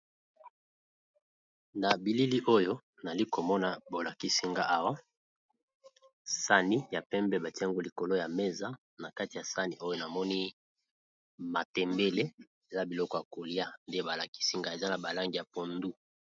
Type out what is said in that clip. Na bilili oyo nali komona bo lakisi nga awa sani ya pembe batie yango likolo ya mesa, na kati ya sani oyo namoni matembele eza biloko ya kolia nde ba lakisi nga eza na ba langi ya pondu.